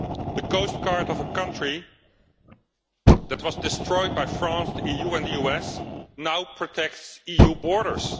The coastguard of a country that was destroyed by France, the EU and the US, now protects the EU borders.